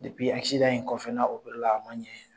in kɔfɛ k'a la a ma ɲɛ.